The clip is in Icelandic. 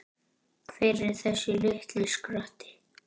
Hver er þessi litli skratti?